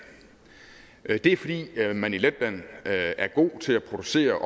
det er fordi man i letland er gode til at producere